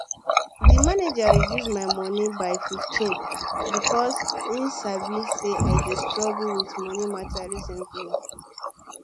d manager reduce my moni by 15 because e sabi say i dey struggle with moni matter recently